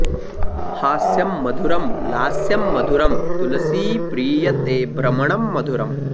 हास्यं मधुरं लास्यं मधुरं तुलसीप्रिय ते भ्रमणं मधुरम्